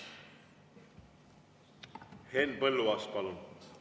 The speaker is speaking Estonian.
Henn Põlluaas, palun!